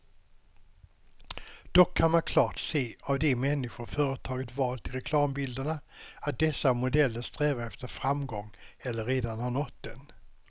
Dock kan man klart se av de människor företaget valt till reklambilderna, att dessa modeller strävar efter framgång eller redan har nått den.